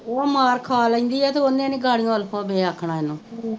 ਉਹ ਮਾਰ ਖਾਂ ਲੈਂਦੀ ਏ ਤੇ ਓਹਨੇ ਨੀ ਆਖਣਾ ਇਹਨੂੰ